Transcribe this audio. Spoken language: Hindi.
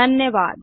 धन्यवाद